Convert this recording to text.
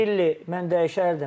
Yiaşvili mən dəyişərdim.